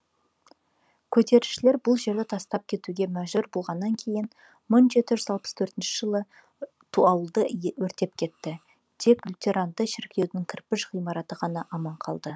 көтерілісшілер бұл жерді тастап кетуге мәжбүр болғаннан кейін мың жеті жүз алпыс төртінші жылы ауылды өртеп кетті тек лютерандық шіркеудің кірпіш ғимараты ғана аман қалды